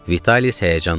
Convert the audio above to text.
Vitalis həyəcanla.